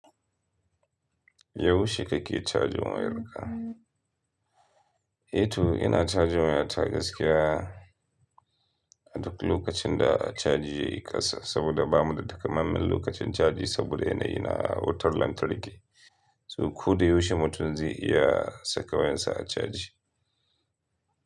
Yaushe kake cajin wayarka? Eh to ina cajin waya ta gaskiya a duk lokacin da a caji yayi ƙasa, saboda ba mu da takamaiman lokacin caji saboda yanayi na wutar lantarki. To ko da yaushe mutum zai iya saka wayarsa a caji.